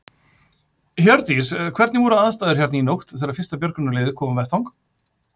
Hjördís: Hvernig voru aðstæður hérna í nótt þegar að fyrsta björgunarlið kom á vettvang?